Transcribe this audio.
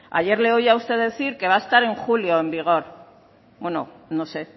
ayer le oía a usted decir que va a estar en julio en vigor bueno no sé